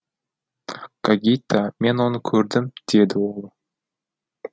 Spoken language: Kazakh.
гогита мен оны көрдім деді ол